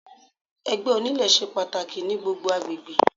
Ẹgbẹ́ onílé ṣe pàtàkì ní gbogbo agbègbè.